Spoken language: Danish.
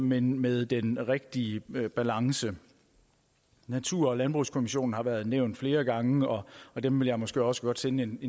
men med den rigtige balance natur og landbrugskommissionen har været nævnt flere gange og dem vil jeg måske også godt sende en